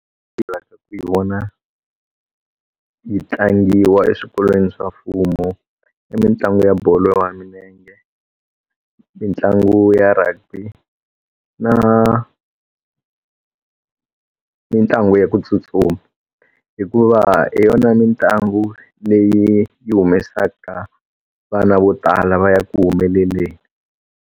Hi vona yi tlangiwa eswikolweni swa mfumo i mitlangu ya bolo ya milenge mitlangu ya rugby na mitlangu ya ku tsutsuma hikuva hi yona mitlangu leyi yi humesaka vana vo tala va ya ku humeleleni.